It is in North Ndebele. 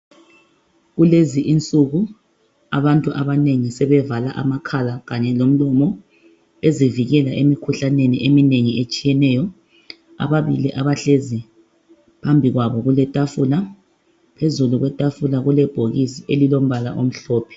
kulezi insuku abantu abanengi sebevala amakhala kanye lomlomo bezivikela emkhuhlaneni eminengi etshiyeneyo ababili abahlezi phambi kwabo kuletafula phezulu kwetafula kule bhokisi elilombala omhlophe